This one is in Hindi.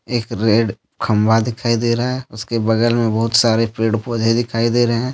एक रेड खंबा दिखाई दे रहा है उसके बगल में बहुत सारे पेड़ पौधे दिखाई दे रहे हैं।